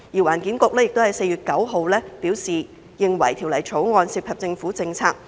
環境局於4月9日表示，《條例草案》涉及政府政策。